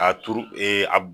A turu ee a b